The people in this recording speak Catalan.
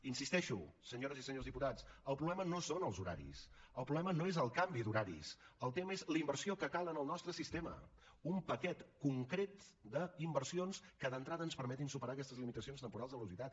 hi insisteixo senyores i senyors diputats el problema no són els horaris el problema no és el canvi d’horaris el tema és la inversió que cal en el nostre sistema un paquet concret d’inversions que d’entrada ens permetin superar aquestes limitacions temporals de velocitat